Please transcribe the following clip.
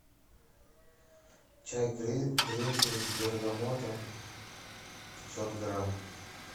чай гринфилд с бергамотом пятьсот грамм